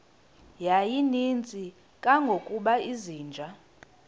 yayininzi kangangokuba izinja